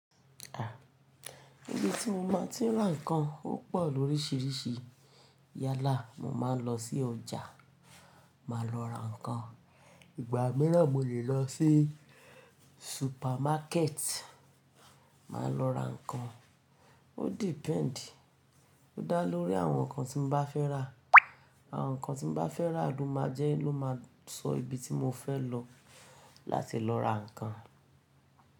Ibi tí mo máa tí n ra nǹkan ó pọ̀ lóríṣiríṣi. Yálà, mo máa ń lọ sí ọjà, màá lọ ra nǹkan. Ìgbà mìíràn mo lè lọ sí supermarket, màá lọ ra nǹkan. Ó depend, ó dá lórí àwọn nǹkan tí mo bá fẹ́ rà. Àwọn nǹkan tí mo bá fẹ́ rà ló máa jẹ́ ló máa sọ ibi tí mo fẹ́ lọ láti lọ ra nǹkan.